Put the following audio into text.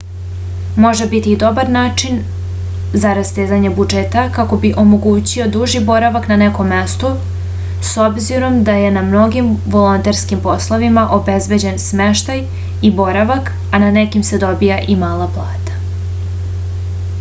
može biti i dobar način za rastezanje budžeta kako bi se omogućio duži boravak na nekom mestu s obzirom da je na mnogim volonterskim poslovima obezbeđen smeštaj i boravak a na nekima se dobija i mala plata